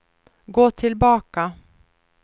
gå tillbaka